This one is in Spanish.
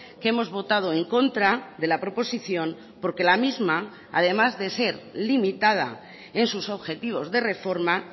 que hemos votado en contra de la proposición porque la misma además de ser limitada en sus objetivos de reforma